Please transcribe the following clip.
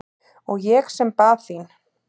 Og ég sem bað þín!